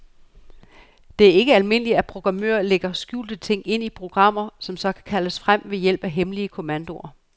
Det er ikke ualmindeligt, at programmører lægger skjulte ting ind i programmer, som så kan kaldes frem ved hjælp af hemmelige kommandoer.